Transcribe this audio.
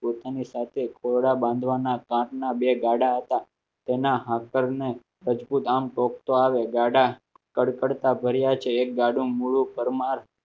પોતાની સાથે ખોડા બાંધવાના કાચના બે ગાડા હતા તેના આગળના મજબુત આમ કોક તો આવે ગાડા કડખડતા ભર્યા છે એક ગાડું મૂળું પરમાર